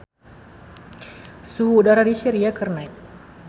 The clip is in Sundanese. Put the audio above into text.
Suhu udara di Syria keur naek